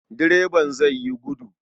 Direban zai yi gudu.